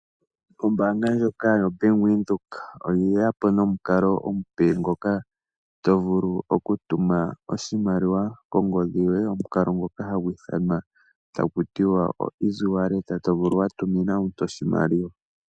Ombaanga ndjoka yo Bank Windhoek oye yapo nomukalo omupe ngoka to vulu oku tuma oshimaliwa kongodhi yoye omukalo ngoka hagu ithanwa taku tiwa o easy wallet to vulu wa tumina omuntu oshimaliwa.